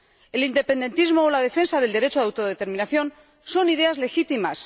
El independentismo y la defensa del derecho de autodeterminación son ideas legítimas